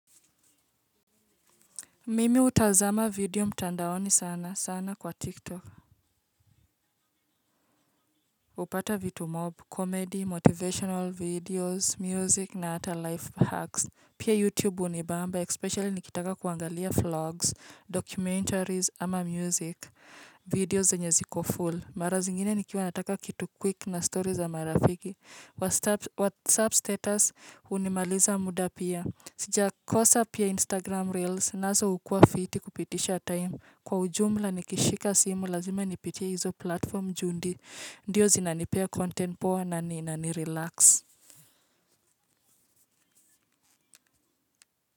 Mimi hutazama video mtandaoni sana sana kwa TikTok. Hupata vitu mob, comedy, motivational videos, music na hata life hacks. Pia YouTube hunibamba, especially nikitaka kuangalia vlogs, documentaries ama music, videos zenye ziko full. Mara zingine nikiwa nataka kitu quick na story za marafiki. WhatsApp status hunimaliza muda pia. Sijakosa pia Instagram reels, nazo hukua fiti kupitisha time. Kwa ujumla nikishika simu lazima nipitie hizo platform juu ndiyo zinanipea content poa na nina nirelax.